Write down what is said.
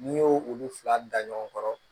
N'i y'o olu fila da ɲɔgɔn kɔrɔ